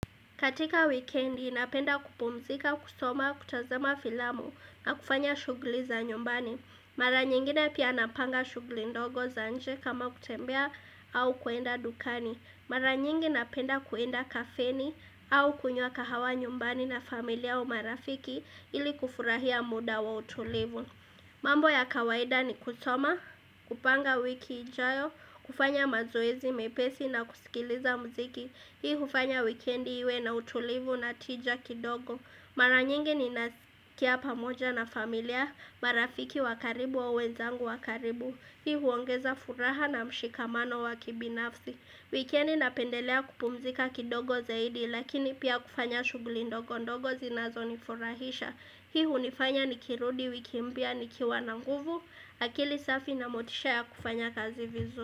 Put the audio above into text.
Katika wikendi napenda kupumuzika kusoma kutazama filamu na kufanya shughuli za nyumbani. Mara nyingine pia napanga shughuli ndogo za nje kama kutembea au kuenda dukani. Mara nyingi napenda kuenda kafeni au kunywa kahawa nyumbani na familia au marafiki ili kufurahia muda wa utulivu. Mambo ya kawaida ni kusoma, kupanga wiki ijayo, kufanya mazoezi mepesi na kusikiliza muziki. Hii hufanya wikendi iwe na utulivu na tija kidogo Mara nyingi ninasikia pamoja na familia marafiki wa karibu au wenzangu wa karibu Hii huongeza furaha na mshikamano wakibinafsi Wikendi napendelea kupumzika kidogo zaidi Lakini pia kufanya shughuli ndogo ndogo zinazonifurahisha Hii hunifanya nikirudi wiki mpya nikiwa na nguvu akili safi na motisha ya kufanya kazi vizu.